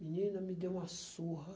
Menina, me deu uma surra.